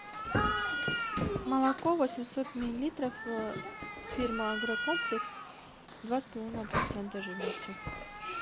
молоко восемьсот миллилитров фирма агрокомплекс два с половиной процента жирности